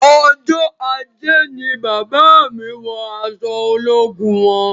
Ọjọ ajé ni bàbá mí wọ aṣọ ológun wọn